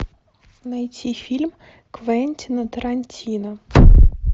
найти фильм квентина тарантино